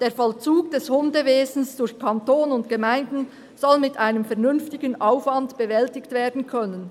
«Der Vollzug des Hundewesens durch Kanton und Gemeinden soll mit einem vernünftigen Aufwand bewältigt werden können.